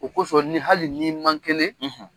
O kosɔn ni hali ni man kelen